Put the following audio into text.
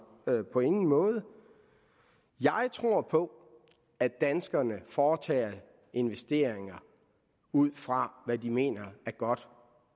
på ingen måde jeg tror på at danskerne foretager investeringer ud fra hvad de mener er godt